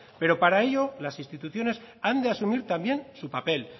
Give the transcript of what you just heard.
pero para ello las instituciones han de asumir también su papel